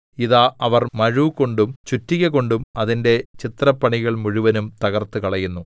ഇതാ അവർ മഴുകൊണ്ടും ചുറ്റിക കൊണ്ടും അതിന്റെ ചിത്രപ്പണികൾ മുഴുവനും തകർത്തുകളയുന്നു